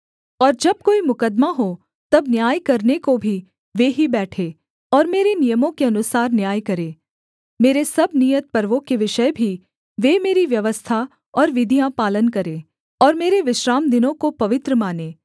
और जब कोई मुकद्दमा हो तब न्याय करने को भी वे ही बैठे और मेरे नियमों के अनुसार न्याय करें मेरे सब नियत पर्वों के विषय भी वे मेरी व्यवस्था और विधियाँ पालन करें और मेरे विश्रामदिनों को पवित्र मानें